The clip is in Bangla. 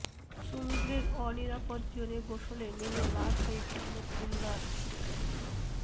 সমুদ্রের অনিরাপদ জোনে গোসলে নেমে লাশ হয়ে ফিরলো খুলনার শিক্ষার্থী